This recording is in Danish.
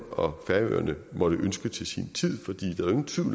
og færøerne måtte ønske til sin tid